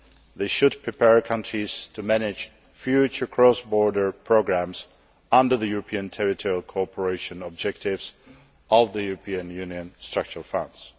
This should prepare countries to manage future cross border programmes under the European territorial cooperation objectives of the European Union Structural Funds.